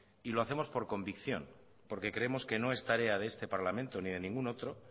y lo hacemos por convicción porque creemos que no es tarea de este parlamento ni de ningún otro